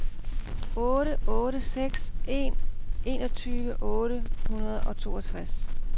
otte otte seks en enogtyve otte hundrede og toogtres